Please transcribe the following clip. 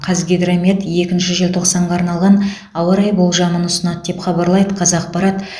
қазгидромет екінші желтоқсанға арналған ауа райы болжамын ұсынады деп хабарлайды қазақпарат